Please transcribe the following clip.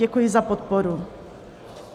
Děkuji za podporu.